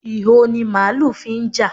Ìho ni màálù fi ń jà.